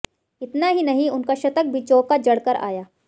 इतना ही नहीं उनका शतक भी चौका जड़कर आया